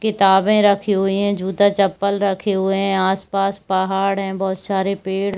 किताबे रखी हुई है जूता चप्पल रखी हुए है आस-पास पहाड़ है बहुत सारे पेड़--